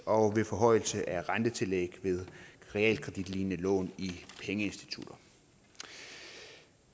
og ved forhøjelse af rentetillæg ved realkreditlignende lån i pengeinstitutter